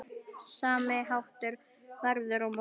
Sami háttur verður á morgun.